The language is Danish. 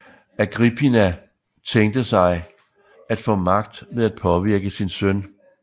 Agrippina tænkte sig at få magt ved at påvirke sin søn